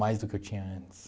Mais do que eu tinha antes.